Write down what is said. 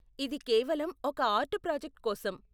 ఇది కేవలం ఒక ఆర్ట్ ప్రాజెక్ట్ కోసం.